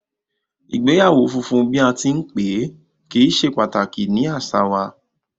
Igbeyawo funfun bi a ti n pe, kii ṣe pataki ni aṣa wa